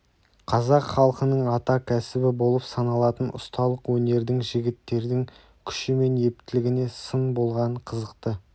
қазақ халқының ата кәсібі болып саналатын ұсталық өнердің жігіттердің күші мен ептілігіне сын болған қызықты